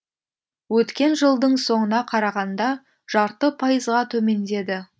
өткен жылдың соңына қарағанда жарты пайызға төмендеді